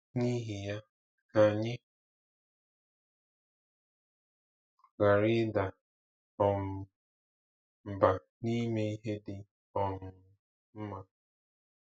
N’ihi ya, ka anyị ghara ịda um mbà n’ime ihe dị um mma.